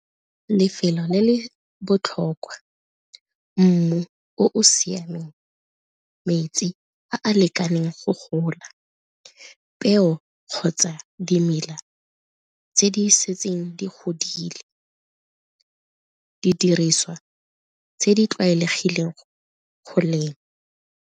Lefelo le le botlhokwa, mmu o o siameng, metsi a a lekaneng go gola, peo kgotsa dimela tse di setseng di godile, didiriswa tse di tlwaelegileng go lema.